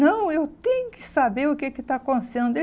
Não, eu tenho que saber o que que está acontecendo.